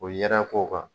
O yɛrɛ k'o kan